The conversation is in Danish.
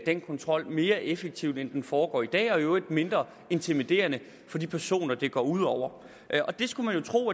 den kontrol mere effektivt end den foregår i dag og i øvrigt mindre intimiderende for de personer det går ud over det skulle man jo tro